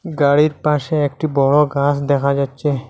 গাড়ির পাশে একটি বড় গাস দেখা যাচ্ছে।